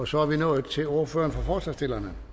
så er vi nået til ordføreren for forslagsstillerne